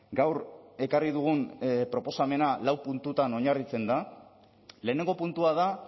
gaur ekarri dugun proposamena lau puntutan oinarritzen da lehenengo puntua da